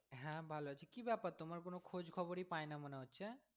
হ্যাঁ ভালো আছি কি ব্যাপার তোমার কোন খোঁজ খবরই পাই না মনে হচ্ছে।